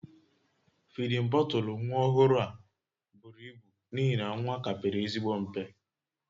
Fidin bọtụlụ nwa ọhụrụ a buru ibu n'ihi na nwa ka pere ezigbo mpe